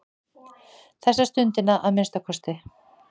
Þessa stundina að minnsta kosti.